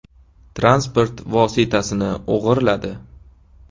transport vositasini o‘g‘irladi.